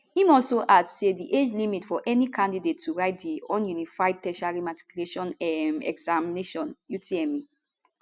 im also add say di age limit for any candidate to write di unified tertiary matriculation um examination utme